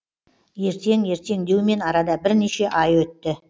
ертең ертең деумен арада бірнеше ай өтті